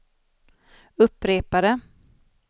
upprepade